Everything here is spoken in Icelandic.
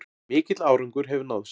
Mikill árangur hefur náðst